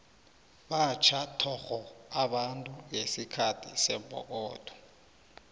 batjha thokgo abantu ngesikhathi sembokotho